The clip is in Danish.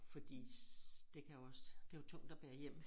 Fordi det kan jo også det jo tungt at bære hjem